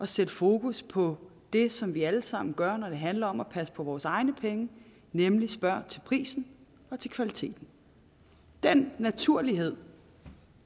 sætte fokus på det som vi allesammen gør når det handler om at passe på vores egne penge nemlig at spørge til prisen og til kvaliteten den naturlighed